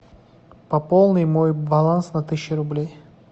пополни мой баланс на тысячу рублей